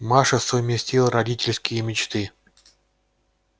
маша совместила родительские мечты